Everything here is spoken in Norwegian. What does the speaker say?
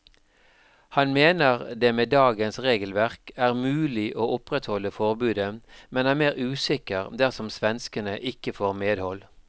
Han mener det med dagens regelverk er mulig å opprettholde forbudet, men er mer usikker dersom svenskene ikke får medhold.